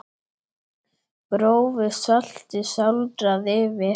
Grófu salti sáldrað yfir.